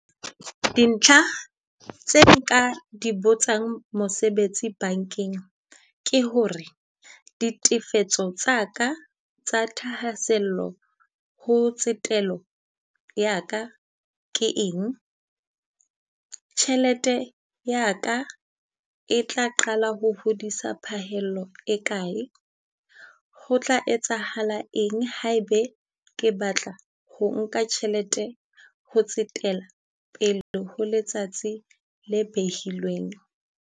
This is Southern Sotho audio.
Dintlha tse nka di botsang mosebetsi bankeng ke ho re, ditefetso tsa ka tsa thahasello ho tsetelo ya ka ke eng? Tjhelete ya ka e tla qala ho hodisa phahello e kae? Ho tla etsahala eng ha e be ke batla ho nka tjhelete ho tsetela pele ho letsatsi le behilweng?